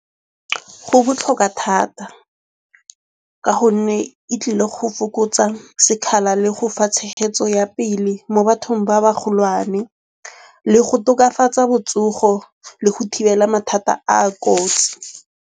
Go botlhokwa thata ka gonne e tlile go fokotsa sekgala le go fa tshegetso ya pele mo bathong ba ba golwane. Le go tokafatsa botsogo le go thibela mathata a a kotsi.